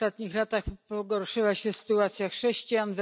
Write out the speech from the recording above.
W ostatnich latach pogorszyła się sytuacja chrześcijan.